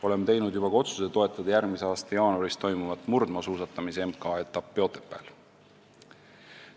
Oleme juba teinud ka otsuse toetada järgmise aasta jaanuaris toimuvat murdmaasuusatamise MK-etappi Otepääl.